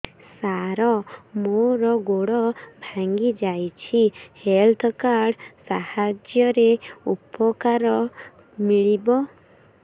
ସାର ମୋର ଗୋଡ଼ ଭାଙ୍ଗି ଯାଇଛି ହେଲ୍ଥ କାର୍ଡ ସାହାଯ୍ୟରେ ଉପକାର ମିଳିବ